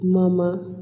Mama